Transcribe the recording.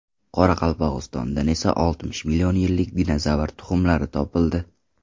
Qoraqalpog‘istondan esa oltmish million yillik dinozavr tuxumlari topildi .